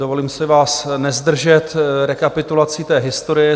Dovolím si vás nezdržet rekapitulací té historie.